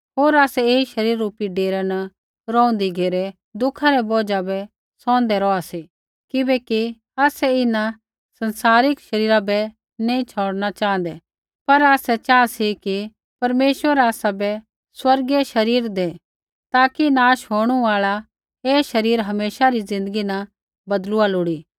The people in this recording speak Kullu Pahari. होर आसै ऐई शरीर रुपी डेरै न रौंहदी घेरै दुःखा रै बौझा बै सौहंदै रौहा सी किबैकि आसै इन्हां संसारिक शरीरा बै नैंई छ़ौड़ना च़ाँहदै लेकिन आसै चाहा सी कि परमेश्वर आसाबै स्वर्गीय शरीर दै ताकि नाश होंणु आल़ा ऐ शरीरा हमेशा री ज़िन्दगी न बदलुआ लोड़ी